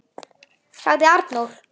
., sagði Arnór.